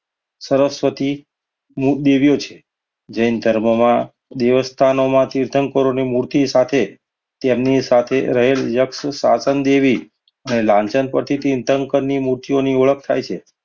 સરસ્વતી દેવીઓ છે. જૈન ધર્મમાં દેવસ્થાનોમાં તીર્થંકરોની મૂર્તિ સાથે તેમની સાથે રહેલ યક્ષ સ્થાપન દેવી અને લાજણ પ્રતિ ચિંતન ની મૂર્તિઓની ઓળખ થાય છે.